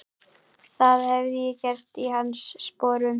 Það hefði ég gert í hans sporum.